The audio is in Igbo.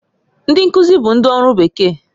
Ndị nkuzi bụ ndị ọrụ bekee